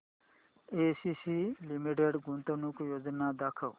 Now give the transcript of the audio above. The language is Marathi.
एसीसी लिमिटेड गुंतवणूक योजना दाखव